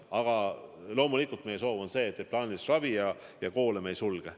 Aga loomulikult on meie soov see, et plaanilist ravi ja koole me ei sulge.